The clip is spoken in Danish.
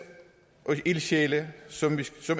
af ildsjæle som